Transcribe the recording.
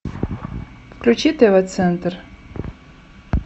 включи тв центр